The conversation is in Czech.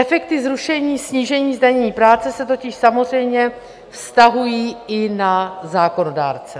Efekty zrušení, snížení zdanění práce se totiž samozřejmě vztahují i na zákonodárce.